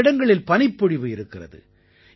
பல இடங்களில் பனிப்பொழிவு இருக்கிறது